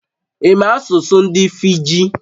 Ị̀ ma asụsụ ndị Fiji?